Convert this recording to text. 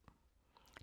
DR2